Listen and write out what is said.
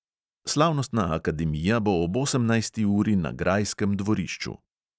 Slavnostna akademija bo ob osemnajsti uri na grajskem dvorišču.